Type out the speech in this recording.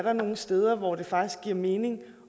er nogle steder hvor det faktisk giver mening